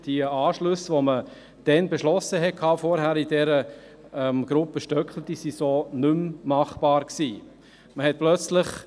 Die Anschlüsse, die man in der Gruppe Stöckli zuvor beschlossen hatte, waren so nicht mehr realisierbar.